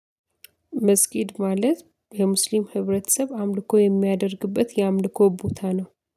መስጊድ ማለት የሙስሊም ህብረተሰብ አምልኮ የሚያደርግበት የአምልኮ ቦታ ነው።